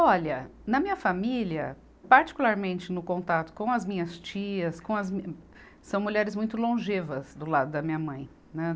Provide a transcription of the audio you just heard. Olha, na minha família, particularmente no contato com as minhas tias, com as min, são mulheres muito longevas do lado da minha mãe, né.